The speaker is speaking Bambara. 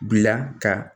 Bila ka